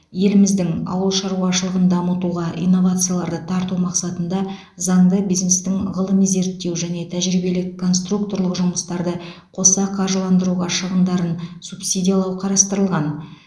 еліміздің ауыл шаруашылығын дамытуға инновацияларды тарту мақсатында заңда бизнестің ғылыми зерттеу және тәжірибелік конструкторлық жұмыстарды қоса қаржыландыруға шығындарын субсидиялау қарастырылған